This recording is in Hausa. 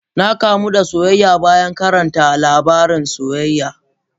Na kamu da soyayya bayan karanta labaran soyayya.